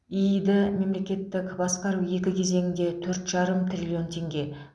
иид мемлекеттік басқару екі кезеңінде төрт жарым триллион теңге